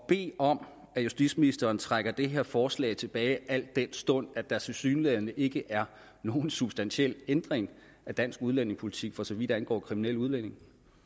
bede om at justitsministeren trækker det her forslag tilbage al den stund at der tilsyneladende ikke er nogen substantiel ændring af dansk udlændingepolitik for så vidt angår kriminelle udlændinge